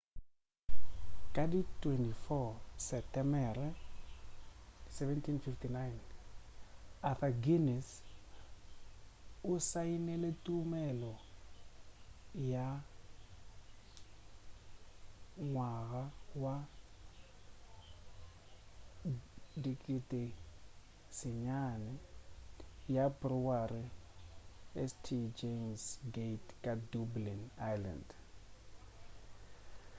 ka di 24 setemere 1759 arthur guinness o saenile tumelelo ya ngwaga wa 9,000 ya brewery ya st james gate ka dublin ireland